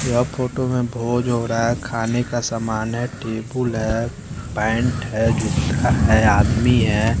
यह फोटो में भोज हो रहा है खाने का समान है टेबुल है पेंट है जूता है आदमी हैं।